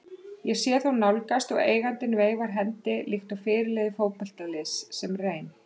Ég sé þá nálgast og eigandinn veifar hendi líkt og fyrirliði fótboltaliðs sem reyn